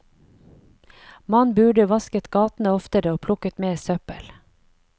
Man burde vasket gatene oftere og plukket mer søppel.